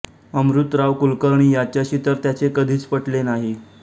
अमृतराव कुलकर्णी याच्याशी तर त्याचे कधीच पटले नाही